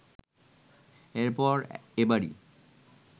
এরপর এবারই